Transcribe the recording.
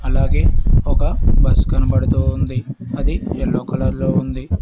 అలాగే ఒక బస్ కనబడుతూ ఉంది అది ఎల్లో కలర్ లో ఉంది.